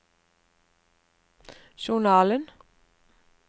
journalen